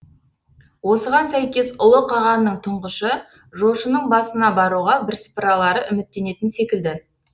осыған сәйкес ұлы қағанның тұңғышы жошының басына баруға бірсыпыралары үміттенетін секілді